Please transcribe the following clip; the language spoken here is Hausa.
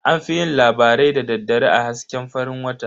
An fi yin labarai da daddare a hasken farin wata.